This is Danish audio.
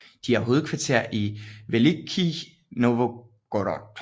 De har hovedkvarter i Velikij Novgorod